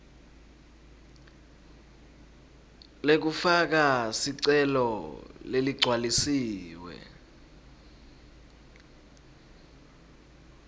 lekufaka sicelo leligcwalisiwe